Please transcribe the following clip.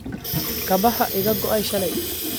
Kabaha iga goay shalay